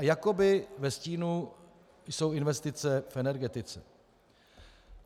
A jakoby ve stínu jsou investice v energetice.